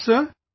Yes sir